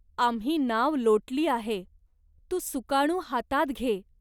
आम्ही नाव लोटली आहे. तू सुकाणू हातात घे.